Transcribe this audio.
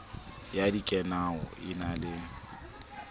ya dikanao e na le